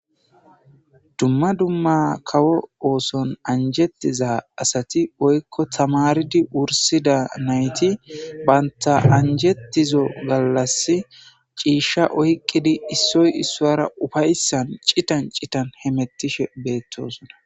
Duma duma kawo ooson anjetida asati woyko tamaaridi wursida nayti banta anjetizo galasi ciisha oyqidi issoy issuwara ufaysan citan citan hemetishe beetosona.